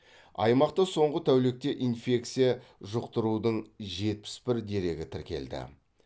аймақта соңғы тәулікте инфекция жұқтырудың жетпіс бір дерегі тіркелді